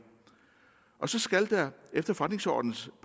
og så skal der efter forretningsordenens